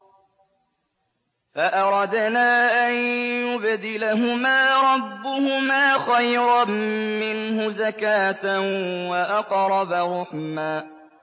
فَأَرَدْنَا أَن يُبْدِلَهُمَا رَبُّهُمَا خَيْرًا مِّنْهُ زَكَاةً وَأَقْرَبَ رُحْمًا